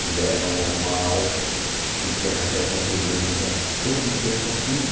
que levam ao mal e que acarretam problemas a todo tempo, a tudo.